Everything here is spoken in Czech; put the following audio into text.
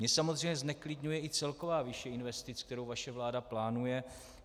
Mě samozřejmě zneklidňuje i celková výše investic, kterou vaše vláda plánuje.